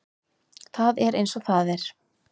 Það er eins og það er.